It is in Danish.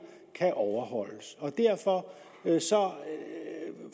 kan overholdes og derfor